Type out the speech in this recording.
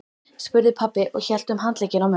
spurði pabbi og hélt um handlegginn á mömmu.